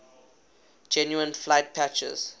genuine flight patches